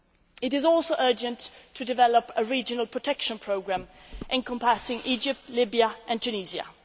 It is also urgent to develop a regional protection programme encompassing Egypt, Libya and Tunisia.